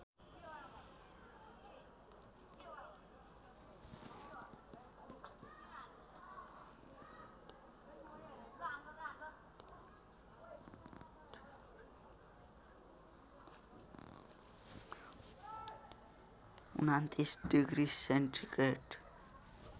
२९ degree centigrade